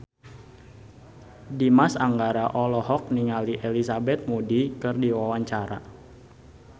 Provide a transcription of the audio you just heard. Dimas Anggara olohok ningali Elizabeth Moody keur diwawancara